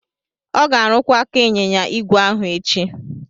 Ọ ga-arụkwa aka ịnyịnya igwe ahu echi.